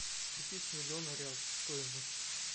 купить миллион реал стоимость